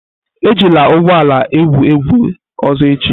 Ejila ụgbọ ala a egwu egwu ọzọ echi!